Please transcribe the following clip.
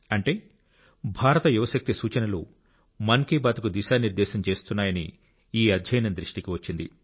అంటే భారత యువ శక్తి సూచనలు మన్ కీ బాత్కు దిశానిర్దేశం చేస్తున్నాయని ఈ అధ్యయనం దృష్టికి వచ్చింది